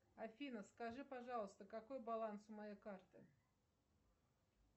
афина скажи пожалуйста какой баланс у моей карты